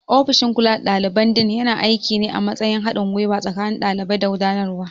Ofishin kula da daliban Dean yana aiki ne a matsayin haɗin gwiwa tsakanin ɗalibai da gudanarwa.